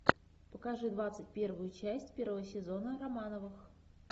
покажи двадцать первую часть первого сезона романовых